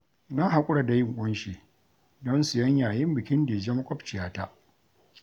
Na haƙura da yin ƙunshi don siyan yayin bikin Dije maƙwabciyata